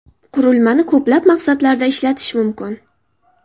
Qurilmani ko‘plab maqsadlarda ishlatish mumkin.